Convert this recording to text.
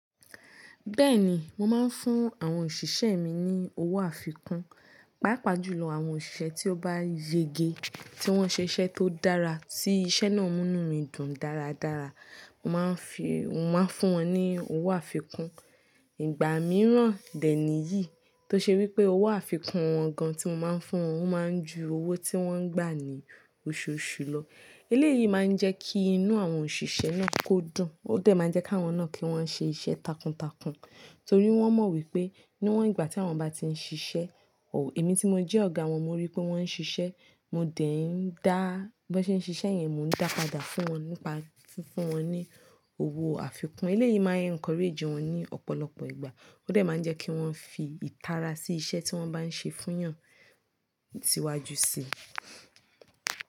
Bẹ́ẹ̀ ni, mo máa ń fún àwọn òṣìṣẹ́ mi ní owó àfikún, pàápàá jùlọ àwọn òṣìṣẹ́ tí ó bá yege, tí wọ́n ṣe iṣẹ́ tó dára, tí iṣẹ́ náà mú mí dùn dáradára. Mo máa ń fi, mo máa ń fún wọn ní owó àfikún. Ìgbà mìíràn, de níyìí tó ṣe wí pé owó àfikún wọn gan tí mo máa ń fún wọn, wọ́n máa ń ju owó tí wọ́n gbà ní oṣooṣù lọ. Eléyìí máa ń jẹ́ kí inú àwọn òṣìṣẹ́ náà kó dùn. Ó de máa ń jẹ́ ká wọn náà kí wọ́n ṣe iṣẹ́ takuntakun torí wọ́n mọ̀ wípé níwọ́n ìgbà tí wọ́n bá ti ń ṣiṣẹ́, ò, èmi tí mo jẹ́ ọ̀gá wọn mo rí pé wọ́n ń ṣiṣẹ́, mo de í ń dá, bí wọ́n ṣe ń ṣiṣẹ́ yẹn mo ń dá padà fún wọn nípa fún wọn ní owó àfikún. Eléyìí máa ń encourage wọn ní ọ̀pọ̀lọpọ̀ ìgbà. Ó dà máa ń jẹ́ kí wọ́n fi ìtara sí iṣẹ́ tí wọ́n bá ń ṣe fún ìyàn tíwájú sí i.